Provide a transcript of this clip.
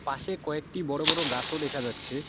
পাশে কয়েকটি বড় বড় গাসও দেখা যাচ্ছে।